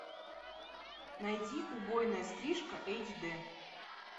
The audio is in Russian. найди убойная стрижка эйч д